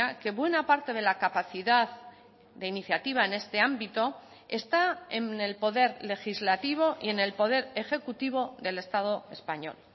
que buena parte de la capacidad de iniciativa en este ámbito está en el poder legislativo y en el poder ejecutivo del estado español